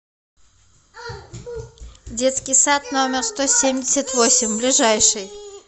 детский сад номер сто семьдесят восемь ближайший